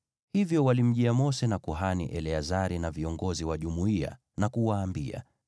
Hivyo walimjia Mose, na kuhani Eleazari na viongozi wa jumuiya, na kuwaambia,